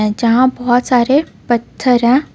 जहाँ बहुत सारे पत्थर है.